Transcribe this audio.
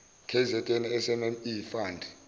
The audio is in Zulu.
kzn smme fund